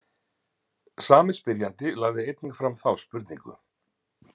Sami spyrjandi lagði einnig fram þá spurningu.